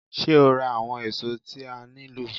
Ṣé́ o ra àwọn èso tí a nílò?